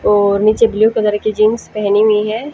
और नीचे blue colour के जींस पहनी हुई है।